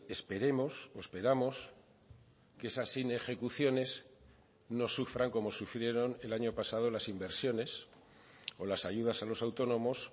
esperemos o esperamos que esas inejecuciones no sufran como sufrieron el año pasado las inversiones o las ayudas a los autónomos